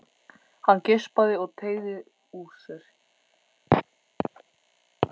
Hann geispaði og teygði úr sér.